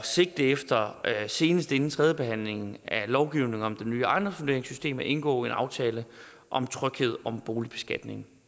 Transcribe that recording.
sigte efter senest inden tredjebehandlingen af lovgivningen om det nye ejendomsvurderingssystem at indgå en aftale om tryghed om boligbeskatningen